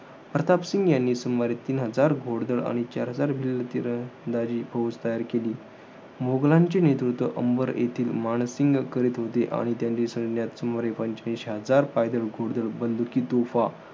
प्रतापसिंह यांनी सुमारे तीन हजार घोडदळ आणि चार हजार भिल्ल फिर~ दाजी फौज तयार केली. मोघलांचे नेतृत्त्व अंबर येथील मानसिंग करीत होते. आणि त्यांच्या सैन्यात सुमारे पंचवीस हजार पायदळ, घोडदळ, बंदुकी, तोफा,